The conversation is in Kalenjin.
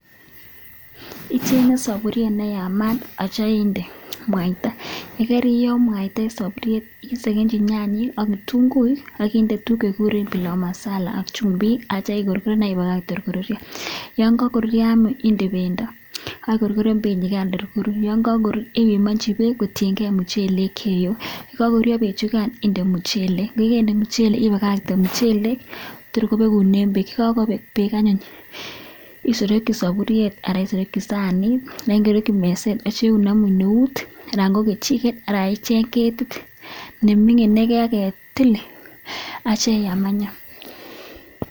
Ichenge saburiet neyamat akityo inde mwaita yekariyoo mwaita en saburiet isekenji nyanyik ak kitunguik ichenge saburiet neyamat akityo inde mwaita yekariyoo mwaita isekenchi nyanyik akitunguik akinde tuguk chekikuren pilau masala ak chumbik akitya ikorgiren akibakakte korurio ak yangagorurio inde bendi akikorgoren benyikan korurio ak kakorurio ibimanchi bek kotiyengei muchelek chieyoe ak nekakorurio benyikan inde muchelek ibakate muchelek bakobek bek anyun isotoki saburiet ak sanit akisereki meset akbneut anan ko anan icheng ketit nemingin agetil akitya iyam anyun.